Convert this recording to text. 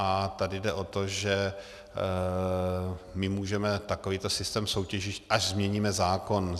A tady jde o to, že my můžeme takovýto systém soutěžit, až změníme zákon.